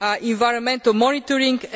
environmental monitoring